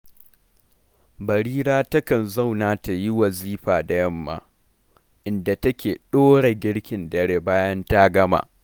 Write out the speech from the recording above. Barira takan zauna ta yi wazifa da yamma, inda take ɗora girkin dare bayan ta gama